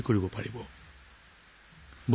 বন্ধু বান্ধৱীসকল